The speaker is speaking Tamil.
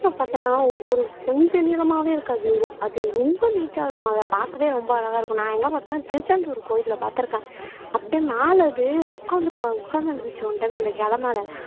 பாத்தீங்கன்னா ஒரு கொஞ்ச நிளமாவே இருக்காது அது ரொம்ப நீட்டா இருக்கும் அதை பாக்கவே ரொம்ப அழகா இருக்கும் நான் எங்க பார்த்தேன்ன திருச்செந்தூர் கோவில்ல பார்த்திருக்கேன் அப்படியே மேல அது உட்கார்ந்து இருக்கும் அது உட்கார்ந்து இருந்துச்சு ஒன் டைம் அந்த இலை மேல